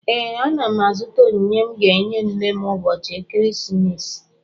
Ee, ana m azụta onyinye m ga-enye nne m ụbọchị ekeresimesi